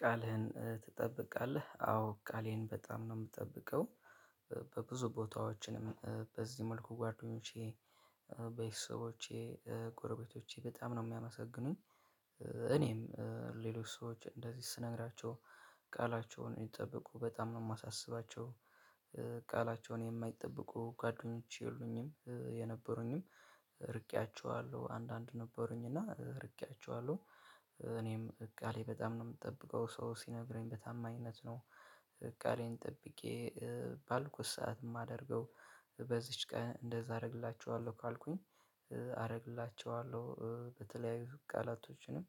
ቃልህን ትጠብቃለህ? አዎ ቃሌን በጣም ነው ምጠብቀው። በብዙ ቦታዎችንም በዚህ መልኩ ጓደኞቼ በተሰቦቼ ጎረቤቶቼ በጣም ነው ሚያመሰግኑኝ። እኔም ሌሎች ሰዎች እንደዚህ ስነግራቸው ቃላቸውን እንዲጠብቁ በጣም ነው ማሳስባቸው። ቃላቸውን ማይጠብቁ ጓደኞች የሉኝም የነበሩኝም ርቄያችኋለሁ አንዳንድ ነበሩኝ እና ርቄያችኋለሁ። እኔም ቃሌ በጣም ነው ምጠብቀው ሰው ሲነግረኝ በታማኝነት ነው። ቃሌን ጠብቄ ባልኩት ሰዓት ማደርገው። በዚች ቀን እንደዛ አደርግላችኋለሁ ካልኩኝ አደርግላችኋለሁ በተለያዩ ቃላቶችንም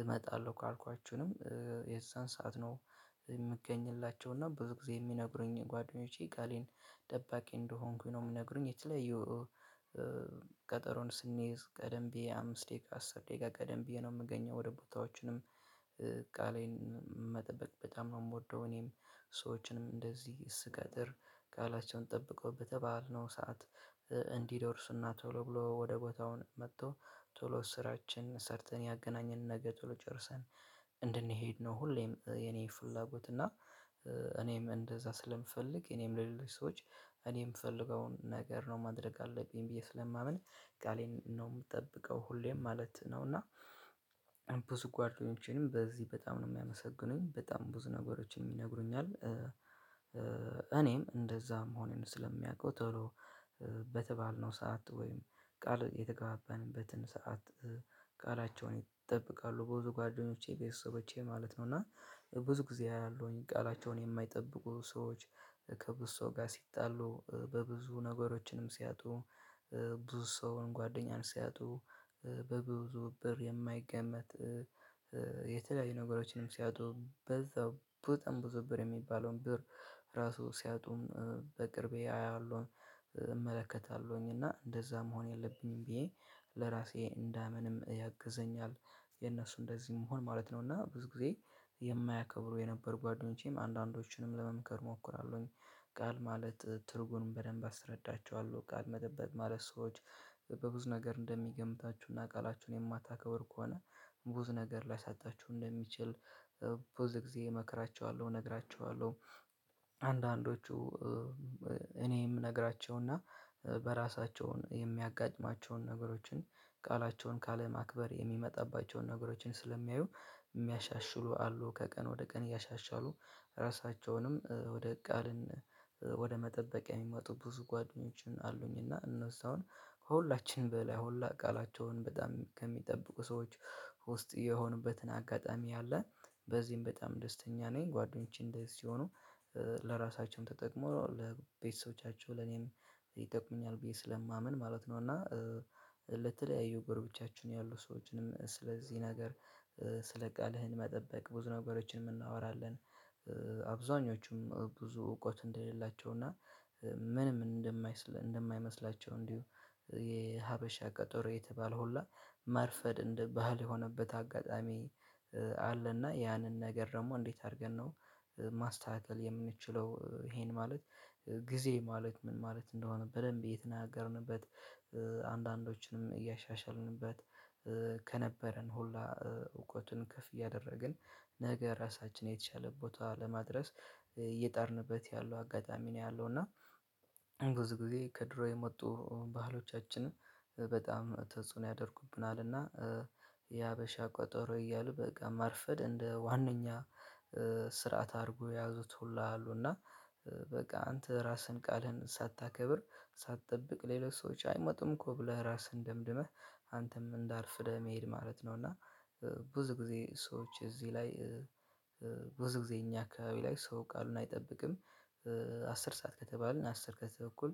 እመጣለሁ ካልኳችሁንም የዛን ሰዓት ነው። የምገኝላቸው እና ብዙ ጊዜ የሚነግሩኝ ጓደኞቼ ቃሌን ጠባቂ እንደሆንኩኝ ነው ሚግሩኝ። የተለያዩ ቀጠሮን ስንይዝ ቀደም ብዬ አምስት ደቂቃ አስር ደቂቃ ቀደም ብዬ ነው ምገኘው ወደ ቦታዎችንም። ቃሌን መጠበቅ በጣም ነው ምወደው። እኔም ሰዎችንም እንደዚህ ስቀጥር ቃላቸውን ጠብቀው በተባልነው ሰዓት እንዲደርስና ቶሎ ብሎ ወደ ቦታውን መጥቶ ቶሎ ስራችን ሰርተን ያገናኘን ነገር ቶሎ ጨርሰን እንድንሄድ ነው። ሁሌም የኔ ፍላጎት እና እኔም እንደዛ ስለምፈልግ እኔም ለሌሎች ሰዎች እኔም ምፈልገውን ነገር ነው ማድረግ አለብኝ ብዬ ስለማምን ቃሌን ነው ምጠብቀው ሁሌም ማለት ነው። እና ብዙ ጓደኞቼንም በዚህ በጣም ነው የሚያመሰግኑኝ በጣም ብዙ ነገሮች የሚነግሩኛል። እኔም እንደዛም ሆነን ስለሚያውቀው ቶሎ በተባልነው ሰዓት ወይም ቃል የተገባበንበትን ሰዓት ቃላቸውን ይጠብቃሉ ብዙ ጓደኞቼ ቤተሰቦቼ ማለት ነው። እና ብዙ ጊዜ ያለውኝ ቃላቸውን የማይጠብቁ ሰዎች ከብዙ ሰው ጋር ሲጣሉ በብዙ ነገሮችንም ሲያጡ። ብዙ ሰውን ጓደኛን ሲያጡ በብዙ ብር የማይገመት። የተለያዩ ነገሮችንም ሲያጡ በዛው በጣም ብዙ ብር የሚባለውን ብር ራሱ ሲያጡም በቅርቤ አያለሁኝ። እመለከታለሁኝ እና እንደዛ መሆን የለብኝም ብዬ ለራሴ እንዳምንም ያግዘኛል። የእነሱ እንደዚህ መሆን ማለት ነውና ብዙ ጊዜ የማያከብሩ የነበር ጓደኞቼም አንዳንዶችንም ለመምከር እሞክራለሁኝ። ቃል ማለት ትርጉሙን በደንብ አስረዳቸዋለሁ ቃል መጠበቅ ማለት ሰዎች በብዙ ነገር እንደሚገምታቹና ቃላቹን የማታከብሩ ከሆነ ብዙ ነገር ሊያሳጣችሁ እንደሚችል። ብዙ ግዜ መክራቹሃለው ነግራቹሃለው። አንዳንዶቹ እኔም የምነግራቸውና በራሳቸውን የሚያጋጥማቸውን ነገሮችን ቃላቸውን ካለማክበር የሚመጣባቸውን ነገሮችን ስለሚያዩ የሚያሻሽሉ አሉ። ከቀን ወደ ቀን እያሻሻሉ ራሳቸውንም ወደ ቃልን ወደ መጠበቅ የሚመጡ ብዙ ጓደኞችን አሉኝ። እና እነሱ አሁን ከሁላችንም በላይ ሁላ ቃላቸውን በጣም ከሚጠብቁ ሰዎች ውስጥ የሆኑበትን አጋጣሚ አለ። በዚህም በጣም ደስተኛ ነኝ። ጓደኞቼ እንደዚህ ሆኖ ለራሳቸውም ተጠቅመዋል ለቤተሰቦቻቸው ለኔም ይጠቁመኛል ብዬ ስለማምን ማለት ነው። እና ለተለያዩ ጎረቤታችን ያሉ ሰዎችንም ስለዚህ ነገር ስለ ቃልህን መጠበቅ ብዙ ነገሮችንም እናወራለን። አብዛኞቹም ብዙ እውቀት እንደሌላቸው እና ምንም እንደማይመስላቸው እንዲሁ የሀበሻ ቀጠሮ የተባለ ሁላ መርፈድ እንደ ባህል የሆነበት አጋጣሚ አለና ያንን ነገር ደግሞ እንዴት? አድርገን ነው ማስተካከል የምንችለው ይሄን ማለት ጊዜ ማለት ምን ማለት እንደሆነ በደንብ የተናገርንበት። አንዳንዶችንም እያሻሻልንበት ከነበረን ሁሉ እውቀቱን ከፍ እያደረግን ነገ ራሳችን የተሻለ ቦታ ለማድረስ እየጣርንበት ያለው አጋጣሚ ነው። ያለው እና ብዙ ጊዜ ከድሮ የመጡ ባህሎቻችንን በጣም ተጽኖ ያደርጉብናልና የሀበሻ ቆጠሮ እያሉ በቃ ማርፈድ እንደ ዋነኛ ስርዓት አድርጎ ያዙት ሁላ አሉና። በቃ አንተ ራስህን ቃልህን ሳታከብር ሳትጠብቅ ሌሎች ሰዎች አይመጡም እኮ ብለህ ራስህን ደምድመህ አንተም እንዳርፍደህ መሄድ ማለት ነው። እና ብዙ ጊዜ ሰዎች እዚህ ላይ ብዙ ጊዜ እኛ አካባቢ ላይ ሰው ቃሉን አይጠብቅም። አስር ሰዓት ከተባልን አስር ከተባልን በኩል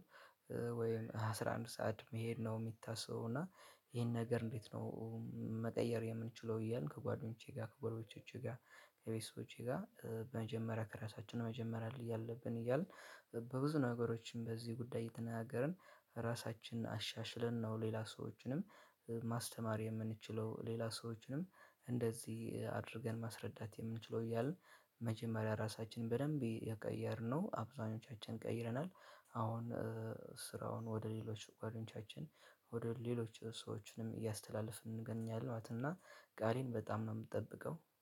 ወይም አስራ አንድ ሰዓት መሄድ ነው የሚታሰው እና ይሄን ነገር እንዴት ነው? መቀየር የምንችለው እያልን ከጓደኞቼ ጋር ከጎረቤቶቼ ጋር ከቤተሰቦቼ ጋር በመጀመሪያ ከራሳችን መጀመሪያ ላይ እያለብን እያልን። በብዙ ነገሮችን በዚህ ጉዳይ ትናገርን ራሳችንን አሻሽለን ነው። ሌላ ሰዎችንም ማስተማር የምንችለው ሌላ ሰዎችንም እንደዚህ አድርገን ማስረዳት የምንችለው እያልን መጀመሪያ ራሳችንን በደንብ የቀየርነው አብዛኞቻችን ቀይረናል። አሁን ስራውን ወደ ሌሎች ጓደኞቻችን ወደ ሌሎች ሰዎችንም እያስተላለፍን እንገኛለን። እና ቃሌን በጣም ነው ምጠብቀው